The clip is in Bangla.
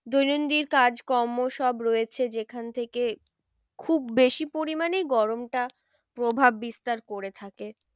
দৈনন্দিন কাজ কর্ম সব রয়েছে যেখান থেকে খুব বেশি পরিমানেই গরমটা প্রভাব বিস্তার করে থাকে।